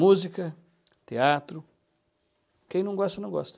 Música, teatro, quem não gosta, não gosta.